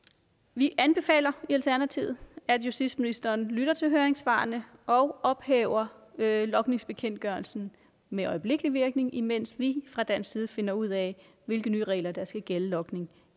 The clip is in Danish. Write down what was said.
vi anbefaler i alternativet at justitsministeren lytter til høringssvarene og ophæver logningsbekendtgørelsen med øjeblikkelig virkning imens vi fra dansk side finder ud af hvilke nye regler der skal gælde for logning